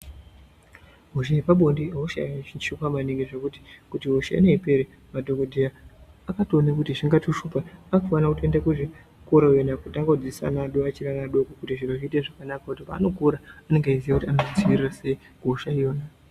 Hosha yepabonde ihosha yakachichuka maningi zvekuti kuti hosha ineyi ipere madhokodheya akatoona kuti zvingatoshupa. Anofana kutoenda kuzvikora iwona kutanga kudzidzisa ana achiri adoko adoko kuitira paanokura anenge eiziya kuti anoidzivirira sei hosha iyoyo.